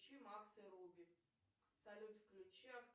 включи макс и руби салют включи